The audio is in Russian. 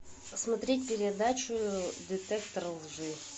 смотреть передачу детектор лжи